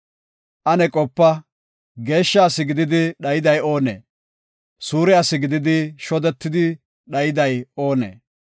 “Ane qopa; geeshsha asi gididi dhayday oonee? Suure asi gididi shodetidi dhayday oonee?